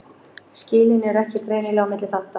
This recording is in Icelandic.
Skilin eru ekki greinileg á milli þátta.